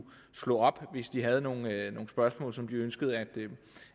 slå op i hvis de havde nogle spørgsmål som de ønskede